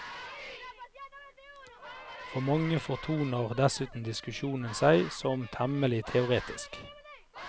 For mange fortoner dessuten diskusjonen seg som temmelig teoretisk.